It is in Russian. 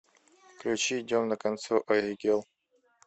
включи идем на канцо аигел